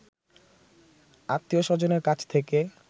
আত্মীয় স্বজনের কাছ থেকে